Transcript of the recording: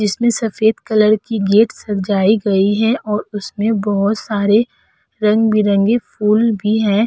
जिसमें सफेद कलर की गेट सजाई गई है और उसमें बोहो सारे रंग-बिरंगे फूल भी हैं।